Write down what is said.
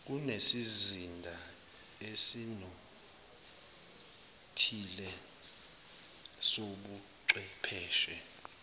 kunesizinda esinothile sobuchwepheshe